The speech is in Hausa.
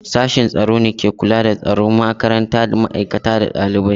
Sashin tsaro ne ke kula da tsaron makaranta, ma'aikata da ɗalibai.